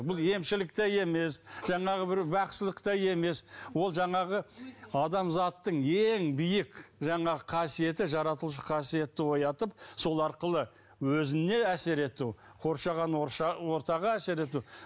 бұл емшілік те емес жаңағы бір бақсылық та емес ол жаңағы адамзаттың ең биік жаңағы қасиеті жаратушы қасиетті оятып сол арқылы өзіне әсер ету қоршаған ортаға әсер ету